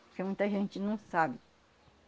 Porque muita gente não sabe.